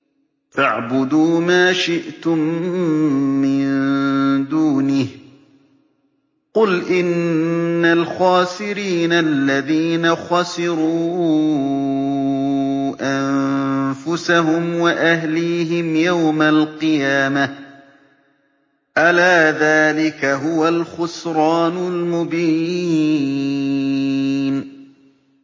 فَاعْبُدُوا مَا شِئْتُم مِّن دُونِهِ ۗ قُلْ إِنَّ الْخَاسِرِينَ الَّذِينَ خَسِرُوا أَنفُسَهُمْ وَأَهْلِيهِمْ يَوْمَ الْقِيَامَةِ ۗ أَلَا ذَٰلِكَ هُوَ الْخُسْرَانُ الْمُبِينُ